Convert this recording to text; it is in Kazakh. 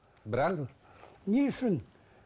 бірақ не үшін